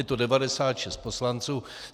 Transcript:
Je to 96 poslanců.